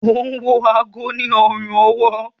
o wọ aago sí ọrùn-ọwọ́.